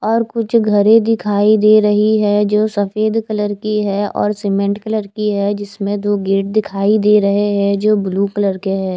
और कुछ घरें दिखाई दे रही है जो सफ़ेद कलर की है और सीमेंट कलर की है जिसमें दो गेट दिखाई दे रहे है जो ब्लू कलर के है।